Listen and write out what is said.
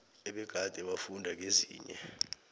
ebegade bafunda kezinye